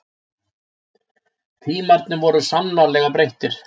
Tímarnir voru sannarlega breyttir.